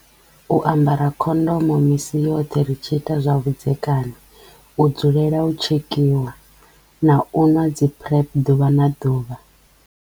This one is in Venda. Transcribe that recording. U ambara khondomo misi yoṱhe ri tshi ita zwa vhudzekani, u dzulela u tshekiwa na u nwa dzi PrEP ḓuvha na ḓuvha.